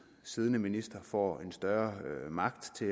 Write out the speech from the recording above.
siddende minister får en større magt til